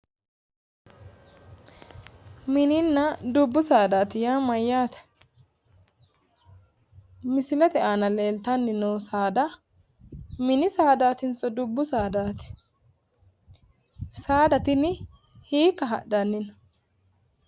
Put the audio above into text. Tini dubbu saadaati yaa mayyaate? Misilete aana leeltanni noo saada mini saadaatinso dubbu saadaati? Saada tini hiikka hadhanni no?